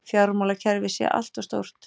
Fjármálakerfið sé allt of stórt